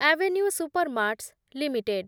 avenue Supermarts limited